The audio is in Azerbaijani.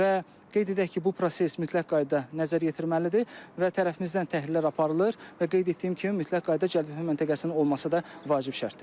Və qeyd edək ki, bu proses mütləq qaydada nəzərə yetirməlidir və tərəfimizdən təhlillər aparılır və qeyd etdiyim kimi mütləq qaydada cəlbetmə məntəqəsinin olması da vacib şərtdir.